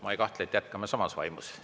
Ma ei kahtle, et jätkame samas vaimus.